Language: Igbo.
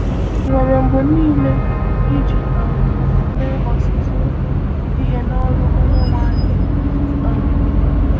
Nwere mgbe niile “iji um mee ọtụtụ ihe n’ọrụ Onyenwe anyị.” um